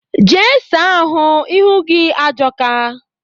Jee saa ahụ, ihu gị ajọka!